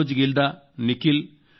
Manoj Gilda Nikhil